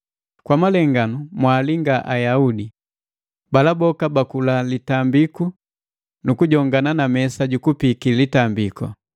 Kwa malenganu mwalinga Ayaudi, bala boka baakula litambiku nukujongana na mesa jukupiki litambiku.